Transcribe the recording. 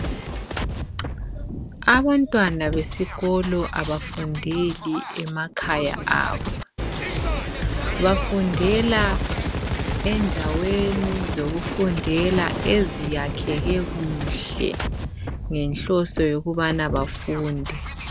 Abantwana besikolo abafundeli emakhaya abo, bafundela endaweni zokufundela eziyakheke kuhle ngenhloso yokubana bafunde.